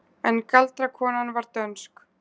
En galdrakonan var dönsk.